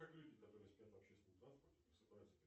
как люди которые спят в общественном транспорте просыпаются